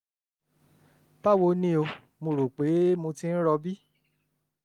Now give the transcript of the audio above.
báwo ni o? mo rò pé mo ti ń rọbí